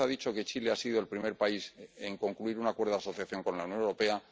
usted ha dicho que Chile ha sido el primer país en concluir un acuerdo asociación con la Unión Europea.